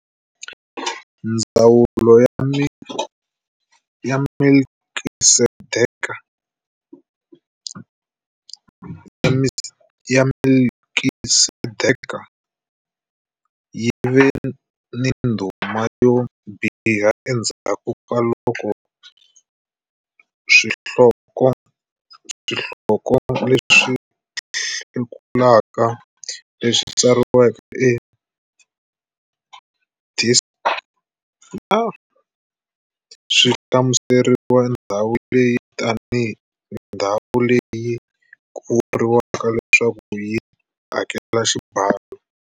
Ndzawulo ya Melkisedeke yi ve ni ndhuma yo biha endzhaku ka loko swihloko leswi hlekulaka, leswi tsariweke hi Desciclopédia, swi hlamusele ndhawu leyi tanihi ndhawu leyi ku vuriwaka leswaku yi hakela xibalo.